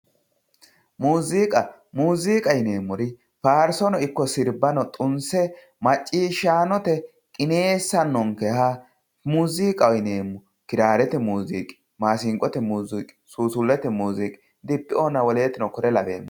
muziiqa muuziqa yineemmori faarsono ikko sirbano xunse macciishshanote qineessannonkeha muziiqaho yineemmo kiraarete muzuqi masinqote musuuqi suusullete musuuqi dibeoona wolootuno kore lawewori